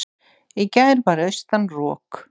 í gær var austan rok